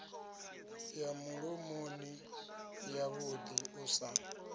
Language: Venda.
ya mulomoni yavhuḓi u sa